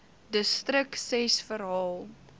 distrik ses verhaal